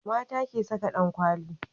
mata ke Saka dankwali